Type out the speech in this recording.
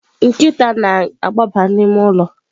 Nkịta na-agbaba n'ime ụlọ.